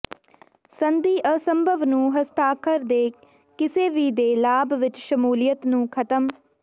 ਸੰਧੀ ਅਸੰਭਵ ਨੂੰ ਹਸਤਾਖਰ ਦੇ ਕਿਸੇ ਵੀ ਦੇ ਲਾਭ ਵਿਚ ਸ਼ਮੂਲੀਅਤ ਨੂੰ ਖਤਮ